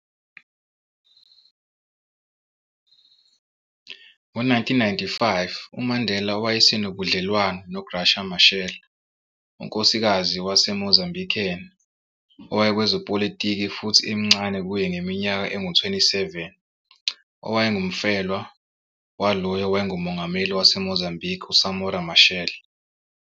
Ngo 1995, uMandela wayesenobudlelwane no-Graça Machel, unkosikazi wase-Mozambican owayekwezepolitiki futhi emncane kuye ngeminyaka engu 27, owayengumfelwa wawolo owayengumongameli waseMozambique u-Samora Machel.